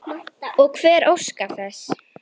SKÚLI: Hvað nú?